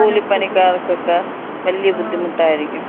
മ്, കൂലിപ്പണിക്കാർക്കക്ക വല്യ ബുദ്ധിമുട്ടായിരിക്കും.